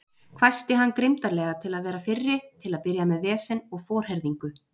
hvæsti hann grimmdarlega til að vera fyrri til að byrja með vesen og forherðingu.